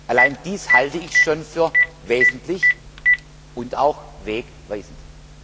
Allein dies halte ich schon für wesentlich und auch wegweisend.